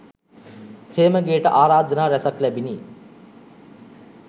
සේමගේට ආරාධනා රැසක් ලැබිණි.